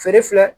Feere filɛ